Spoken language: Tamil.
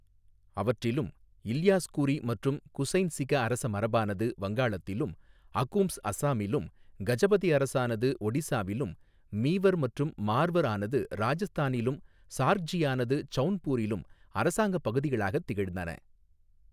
அவற்றிலும் இல்யாஸ் கூறி மற்றும் குசைன் சிக அரச மரபானதும் வங்காளத்திலும் அகூம்ஸ் அஸ்ஸாமிலும் கஜபதி அரசானது ஒடிசாவிலும் மீவர் மற்றும் மார்வர் ஆனது ராஜஸ்தானிலும் சார்க்ஜியானது சௌன்பூரிலும் அரசாங்க பகுதிகளாகத் திகழ்ந்தன.